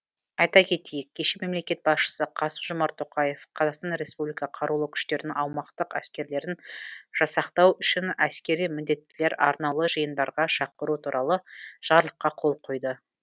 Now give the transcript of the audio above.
айта кетейік кеше мемлекет басшысы қасым жомарт тоқаев қр қарулы күштерінің аумақтық әскерлерін жасақтау үшін әскери міндеттілер арнаулы жиындарға шақыру туралы жарлыққа қол қойды